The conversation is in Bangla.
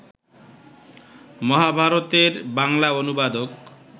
মহাভারতের বাংলা অনুবাদক